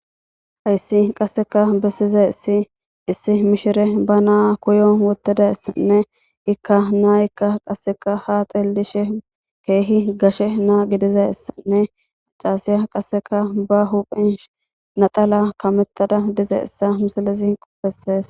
Haysi qaseka besizaysi issi mishiriya ba na kiyon wothidaysnne i na'ayka qaseka haa xeelishe kehippe gashe gididaysa